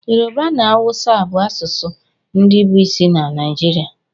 Yorùbá na áwúsa bụ asụsụ ndị bụ isi na Naịjirịa